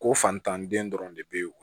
Ko fantan den dɔrɔn de bɛ yen wo